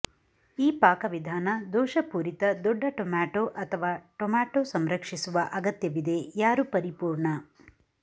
ಈ ಪಾಕವಿಧಾನ ದೋಷಪೂರಿತ ದೊಡ್ಡ ಟೊಮ್ಯಾಟೊ ಅಥವಾ ಟೊಮ್ಯಾಟೊ ಸಂರಕ್ಷಿಸುವ ಅಗತ್ಯವಿದೆ ಯಾರು ಪರಿಪೂರ್ಣ